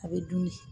A bɛ dun